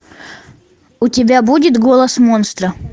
у тебя будет голос монстра